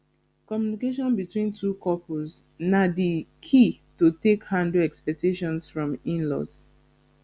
communication between couples na di key to take handle expectations from inlaws